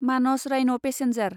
मानस राइन' पेसेन्जार